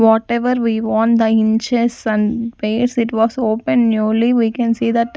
whatever we want the it was open newly we can see that--